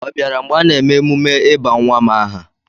Ọ bịara mgbe a na-eme emume ịba nwa m aha?